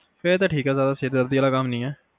ਫਿਰ ਤਾ ਠੀਕ ਆ ਜਾਦਾ ਸਿਰਦਰਦੀ ਵਾਲਾ ਕਮ ਨਹੀਂ ਏ